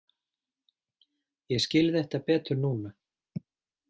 Ég skil þetta betur núna.